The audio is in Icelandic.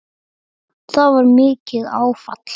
Það var mikið áfall.